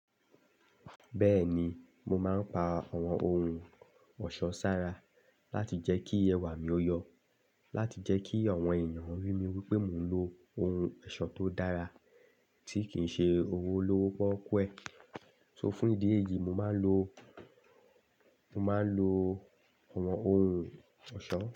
Bẹ́ẹ̀ni, mo máa ń pa àwọn ohun ọ̀ṣọ́ sára láti jẹ́ kí ẹwà mi o yọ, láti jẹ́ kí àwọn ènìyàn rí mi wípé mò ń lo ohun ẹ̀ṣọ́ tó dára tí kì ń ṣe owó lowo pọ́kùẹ̀. So fún ìdí èyí, mo máa ń lo, mo máa ń lo àwọn ohun ọ̀ṣọ́.